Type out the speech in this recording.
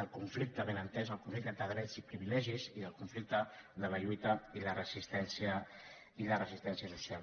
del conflicte ben entès el conflicte entre drets i pri·vilegis i el conflicte de la lluita i la resistència social